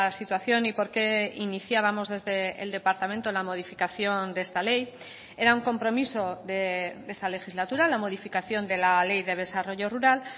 situación y por qué iniciábamos desde el departamento la modificación de esta ley era un compromiso de esta legislatura la modificación de la ley de desarrollo rural